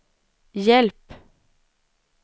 hjälp